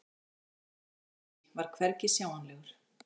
En Herra Takashi var hvergi sjáanlegur.